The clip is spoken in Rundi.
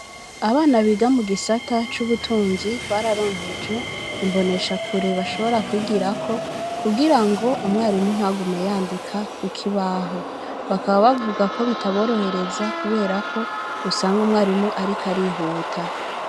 Abana biga mu gisata c'ubutunzi, bararonkejwe imboneshakure bashobora kwigirako, kugira ngo umwarimu ntagume yandika ku kibaho; bakaba bavuga ko bitaborohereza kubera ko usanga umwarimu ariko arihuta.